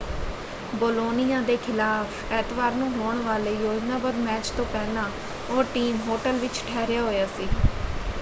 Bologna ਦੇ ਖਿਲਾਫ਼ ਐਤਵਾਰ ਨੂੰ ਹੋਣ ਵਾਲੇ ਯੋਜਨਾਬੱਧ ਮੈਚ ਤੋਂ ਪਹਿਲਾਂ ਉਹ ਟੀਮ ਹੋਟਲ ਵਿੱਚ ਠਹਿਰਿਆ ਹੋਇਆ ਸੀ।